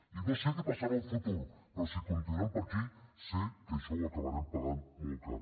i no sé què passarà en el futur però si continuem per aquí sé que això ho acabarem pagant molt car